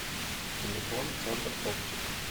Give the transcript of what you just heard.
телефон центр оптик